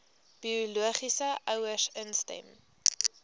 biologiese ouers instem